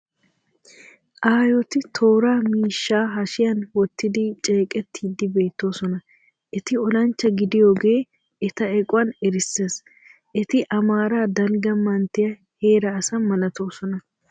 Aayoti toora miishshaa hashiyan wottidi ceqettiiddi beettoosona. Eti olanchcha gidiyogee eta equwan erissees. Eti amaaraa dalgga manttiua heera asa malatoosona.